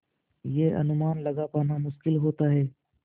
यह अनुमान लगा पाना मुश्किल होता है